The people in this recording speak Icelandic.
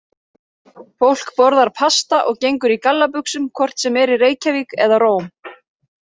Fólk borðar pasta og gengur í gallabuxum hvort sem er í Reykjavík eða Róm.